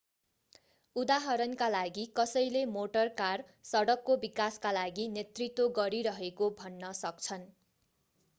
उदाहरणका लागि कसैले मोटर कार सडकको विकासका लागि नेतृत्व गरिरहेको भन्न सक्छन्